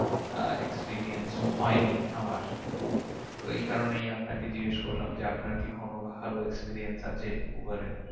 আহ experience হয় নি আমার তো এই কারণেই আপনাকে জিজ্ঞেস করলাম যে আপনার কি কোনো ভালো experience আছে উবারে?